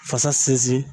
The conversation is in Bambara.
Fasa sinsin